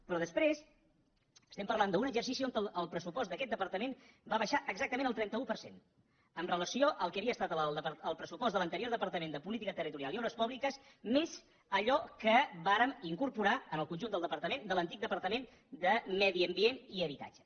però després estem parlant d’un exercici on el pressupost d’aquest departament va baixar exactament el trenta un per cent amb relació al que havia estat el pressupost de l’anterior departament de política territorial i obres públiques més allò que vàrem incorporar en el conjunt del departament de l’antic departament de medi ambient i habitatge